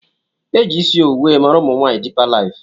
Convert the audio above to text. Eji isi owu wee maara umunwaanyi dipa lifu.